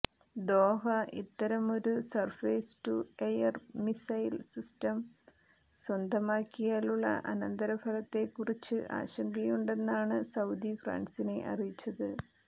Doha ഇത്തരമൊരു surface to air missile system സ്വന്തമാക്കിയാലുള്ള അനന്തരഫലത്തെക്കുറിച്ച് ആശങ്കയുണ്ടെന്നാണ് സൌദി ഫ്രാൻസിനെ അറിയിച്ചത്